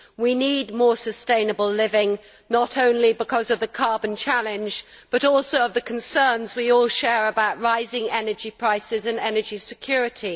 We need more sustainable living, not only because of the carbon challenge but also because of the concerns we all share about rising energy prices and energy security.